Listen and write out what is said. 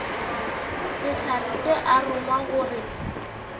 sehlare se a rongwa gore